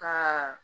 Ka